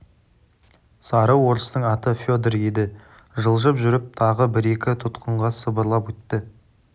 сары орыстың аты федор еді жылжып жүріп тағы бір-екі тұтқынға сыбырлап өтті